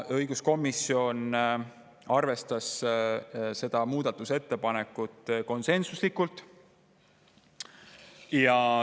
Õiguskomisjon arvestas seda muudatusettepanekut konsensuslikult.